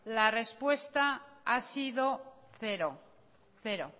la respuesta ha sido cero